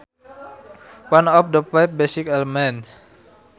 One of the five basic elements